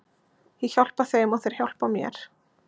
Ég hjálpa þeim og þeir hjálpa mér.